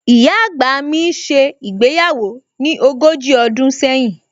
Ìyá àgbà mi ṣe ìgbéyàwó ní ogójì ọdún sẹ́yìn